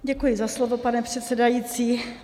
Děkuji za slovo, pane předsedající.